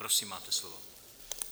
Prosím máte slovo.